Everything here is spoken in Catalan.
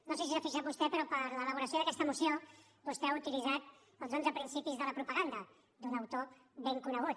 no sé si s’hi ha fixat vostè però per a l’elaboració d’aquesta moció vostè ha utilitzat els onze principis de la propaganda d’un autor ben conegut